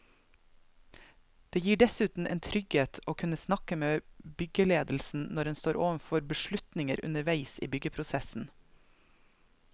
Det gir dessuten en trygghet å kunne snakke med byggeledelsen når en står overfor beslutninger underveis i byggeprosessen.